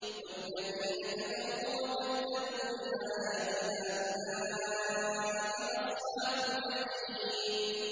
وَالَّذِينَ كَفَرُوا وَكَذَّبُوا بِآيَاتِنَا أُولَٰئِكَ أَصْحَابُ الْجَحِيمِ